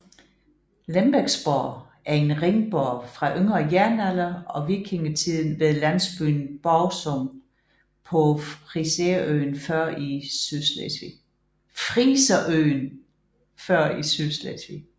Lembeksborg er en ringborg fra yngre jernalder og vikingetiden ved landsbyen Borgsum på friserøen Før i Sydslesvig